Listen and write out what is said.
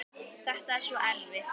Þetta er svo erfitt.